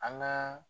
An ka